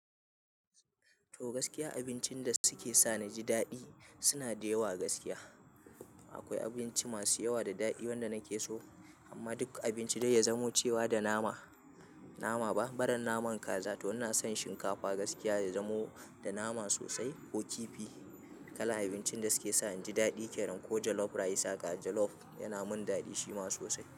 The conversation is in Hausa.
To gaskiya abincin da suke sa na ji daɗi suna da yawa gaskiya. Akwai abinci masu yawa da daɗi wanda nake so amma duk abinci dai ya zamo cewa da nama, nama ba, baran naman kaza to ina son shinkafa gaskiya ya zamo da nama sosai ko kifi. Kalar abincin da suke sa in ji daɗi kenan ko jalof rice haka jalof yana min daɗi shi ma sosai.